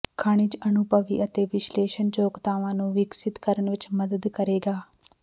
ਖਣਿਜ ਅਨੁਭਵੀ ਅਤੇ ਵਿਸ਼ਲੇਸ਼ਣ ਯੋਗਤਾਵਾਂ ਨੂੰ ਵਿਕਸਿਤ ਕਰਨ ਵਿੱਚ ਮਦਦ ਕਰੇਗਾ